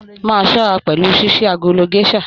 Máa ṣọra pẹlú ṣiṣi agolo gèsà!